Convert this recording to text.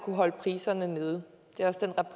at holde priserne nede